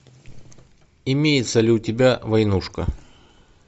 имеется ли у тебя войнушка